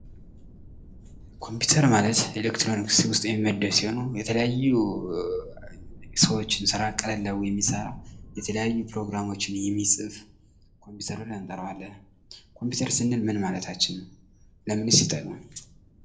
ኮምፒተር ማለት ኤሌክትሮኒክስ ውስጥ የሚመደብ ሲሆን፤ የተለያዩ የሰዎችን ስራ ቀለል አግርጎ የሚሰራ የተለያዩ ፕሮግራሞችን የሚጽፉ ኮምፒተር ብለን እንጠራዋለን። ኮምፒተር ስንል ምን ማለታችን ነው? ለምንስ ይጠቅማል?